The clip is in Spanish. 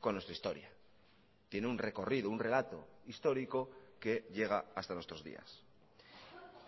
con nuestra historia tiene un recorrido un relato histórico que llega hasta nuestros días